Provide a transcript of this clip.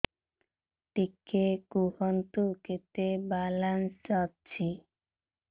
ଟିକେ କୁହନ୍ତୁ କେତେ ବାଲାନ୍ସ ଅଛି